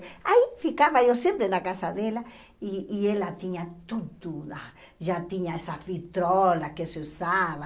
Aí ficava eu sempre na casa dela e e ela tinha tudo lá, já tinha essa vitrola que se usava.